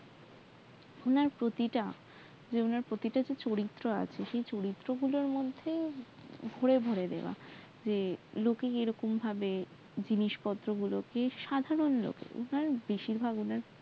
ওনার প্রতিটা যে চরিত্র আছে চরিত্র সেই গুলোর মধ্যে ভরে ভরে দেওয়া যে লোকে এরকম ভাবে জিনিসপত্র গুলকে সাধারন লোকে বেশিরভাগ